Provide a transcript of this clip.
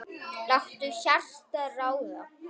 Láttu hjartað ráða.